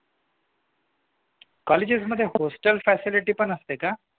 Colleges मध्ये hostel facility पण असते का?